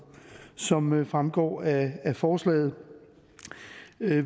som fremgår af forslaget